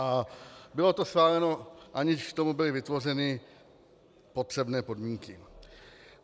A bylo to schváleno, aniž k tomu byly vytvořeny potřebné podmínky.